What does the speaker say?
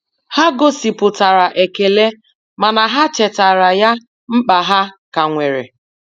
Ha gosipụtara ekele mana ha chetara ya mkpa ha ka nwere.